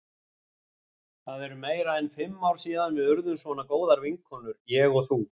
Það eru meira en fimm ár síðan við urðum svona góðar vinkonur, ég og þú.